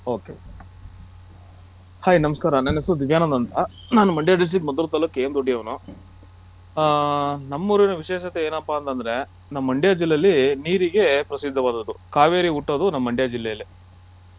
Ok Hi ನಮಸ್ಕಾರ ನನ್ನ ಹೆಸರು ದಿವ್ಯಾನಂದ್ ಅಂತ ನಾನ್ ಮಂಡ್ಯ district ಮದ್ದೂರ್ ತಾಲ್ಲೂಕ್ KM ದೊಡ್ಡಿ ಯವನು ಹಾ ನಮ್ಮೂರಿನ ವಿಶೇಷತೆ ಏನಪ್ಪಾ ಅಂದ್ರೆ ನಮ್ಮ್ ಮಂಡ್ಯ ಜಿಲ್ಲೆಯಲ್ಲಿ ನೀರಿಗೆ ಪ್ರಸಿದ್ದವಾದದು ಕಾವೇರಿ ಹುಟ್ಟೋದ್ ನಮ್ಮ್ ಮಂಡ್ಯ ಜಿಲ್ಲೆಯಲ್ಲೇ.